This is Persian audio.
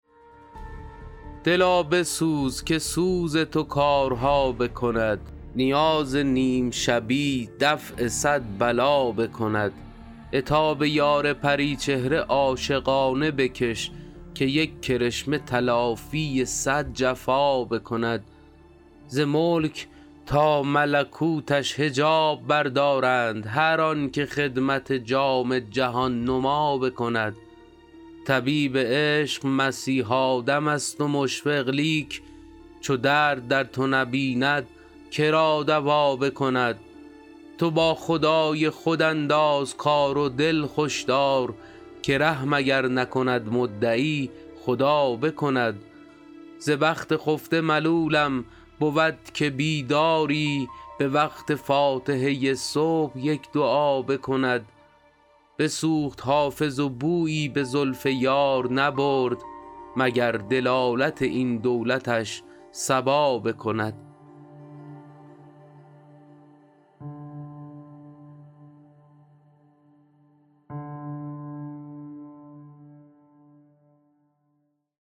دلا بسوز که سوز تو کارها بکند نیاز نیم شبی دفع صد بلا بکند عتاب یار پری چهره عاشقانه بکش که یک کرشمه تلافی صد جفا بکند ز ملک تا ملکوتش حجاب بردارند هر آن که خدمت جام جهان نما بکند طبیب عشق مسیحا دم است و مشفق لیک چو درد در تو نبیند که را دوا بکند تو با خدای خود انداز کار و دل خوش دار که رحم اگر نکند مدعی خدا بکند ز بخت خفته ملولم بود که بیداری به وقت فاتحه صبح یک دعا بکند بسوخت حافظ و بویی به زلف یار نبرد مگر دلالت این دولتش صبا بکند